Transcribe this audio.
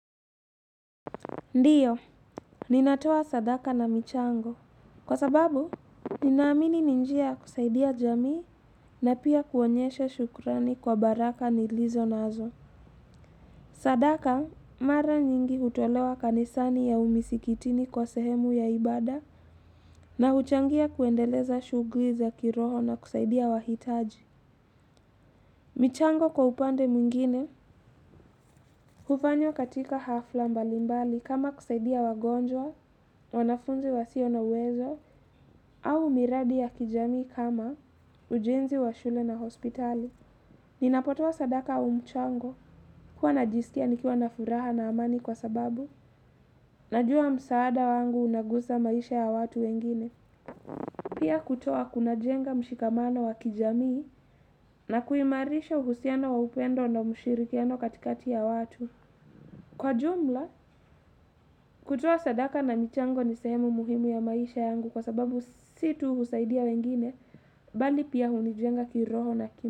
Ndiyo, ninatoa sadaka na michango. Kwa sababu, ninaamini ni njia kusaidia jamii na pia kuonyesha shukurani kwa baraka nilizo nazo. Sadaka, mara nyingi hutolewa kanisani au misikitini kwa sehemu ya ibada na huchangia kuendeleza shuguli za kiroho na kusaidia wahitaji. Michango kwa upande mwingine, hufanywa katika hafla mbalimbali kama kusaidia wagonjwa, wanafunzi wasio na uwezo, au miradi ya kijamii kama ujenzi wa shule na hospitali. Ninapotoa sadaka au mchango kuwa najisikia nikiwa na furaha na amani kwa sababu najua msaada wangu unagusa maisha ya watu wengine. Pia kutoa kunajenga mshikamano wa kijamii na kuimarisha uhusiano wa upendo na mushirikiano katikati ya watu. Kwa jumla, kutoa sadaka na michango ni sehemu muhimu ya maisha yangu kwa sababu situ kusaidia wengine bali pia hunijenga kiroho na ki.